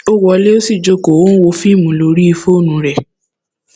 ó wọlé ó sì jókòó ó ń wo fíìmù lórí fóònù ẹ